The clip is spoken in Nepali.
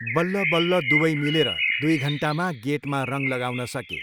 बल्ल बल्ल दुवै मिलेर दुई घन्टामा गेटमा रङ लगाउन सके।